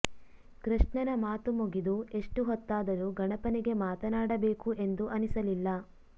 ಕೃಷ್ಣನ ಮಾತು ಮುಗಿದು ಎಷ್ಟು ಹೊತ್ತಾದರು ಗಣಪನಿಗೆ ಮಾತನಾಡಬೇಕು ಎಂದು ಅನಿಸಲಿಲ್ಲ